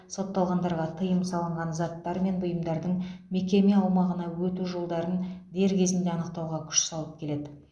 сотталғандарға тыйым салынған заттар мен бұйымдардың мекеме аумағына өту жолдарын дер кезінде анықтауға күш салып келеді